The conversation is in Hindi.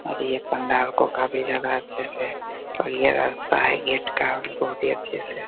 और ये पंडाल को काफी ज्यादा अच्छे से और ये रास्ता है गेट का बहुत अच्छे से --